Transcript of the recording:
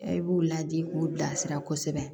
E b'u ladi k'u bilasira kosɛbɛ